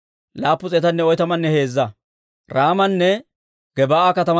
Laa"entso Nabo geetettiyaa katamaa Asay 52.